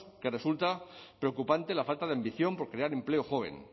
que resulta preocupante la falta de ambición por crear empleo joven